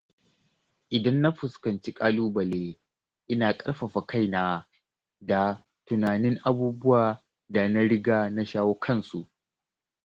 Idan na fuskanci ƙalubale, ina ƙarfafa kaina da tunanin abubuwan da na riga na shawo kansu.